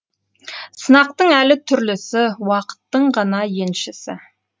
сынақтың әлі түрлісі уақыттың ғана еншісі